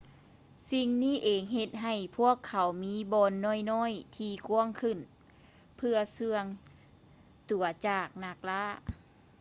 ສິ່ງນີ້ເອງເຮັດໃຫ້ພວກເຂົາມີບ່ອນນ້ອຍໆທີ່ກວ້າງຂຶ້ນເພື່ອເຊື່ອງຕົວຈາກນັກລ່າ